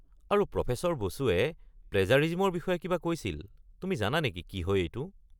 আৰু প্ৰফেছৰ বসুৱে প্লেজাৰিজিমৰ বিষয়ে কিবা কৈছিল; তুমি জানা নেকি কি হয় এইটো?